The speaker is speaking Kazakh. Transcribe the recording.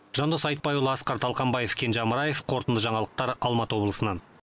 жандос айтбайұлы асқар талқанбаев кенже амраев қорытынды жаңалықтар алматы облысынан